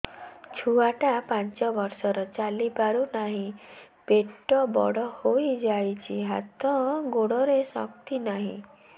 ଛୁଆଟା ପାଞ୍ଚ ବର୍ଷର ଚାଲି ପାରୁ ନାହି ପେଟ ବଡ଼ ହୋଇ ଯାଇଛି ହାତ ଗୋଡ଼ରେ ଶକ୍ତି ନାହିଁ